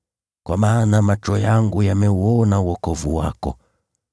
Kwa maana macho yangu yameuona wokovu wako,